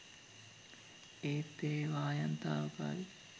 ඒත් ඒවායෙන් තාවකාලික